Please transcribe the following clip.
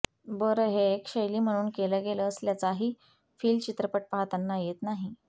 बरं हे एक शैली म्हणून केलं गेलं असल्याचाही फिल चित्रपट पाहताना येत नाही